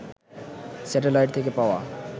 satellite থেকে পাওয়া